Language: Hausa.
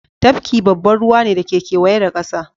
Tafki babban ruwa ne da ke kewaye da kasa